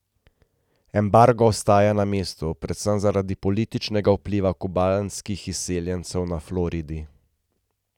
Embargo ostaja na mestu predvsem zaradi političnega vpliva kubanskih izseljencev na Floridi.